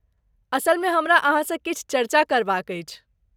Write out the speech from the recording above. असलमे हमरा अहाँ सँ किछु चर्चा करबाक अछि।